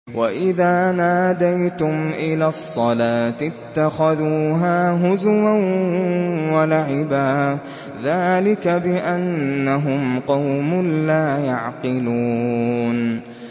وَإِذَا نَادَيْتُمْ إِلَى الصَّلَاةِ اتَّخَذُوهَا هُزُوًا وَلَعِبًا ۚ ذَٰلِكَ بِأَنَّهُمْ قَوْمٌ لَّا يَعْقِلُونَ